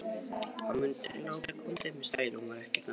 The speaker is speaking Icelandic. Hún mundi ekki láta hann komast upp með stæla, hún var ekki þannig.